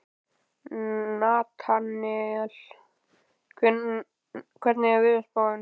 Natanael, hvernig er veðurspáin?